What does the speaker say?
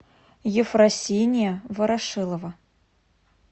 ефросиния ворошилова